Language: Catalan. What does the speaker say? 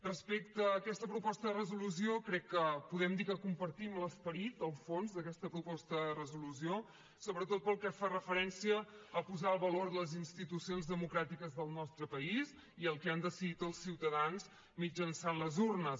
respecte a aquesta proposta de resolució crec que podem dir que compartim l’esperit el fons d’aquesta proposta de resolució sobretot pel que fa referència a posar el valor a les institucions democràtiques del nostre país i al que han decidit els ciutadans mitjançant les urnes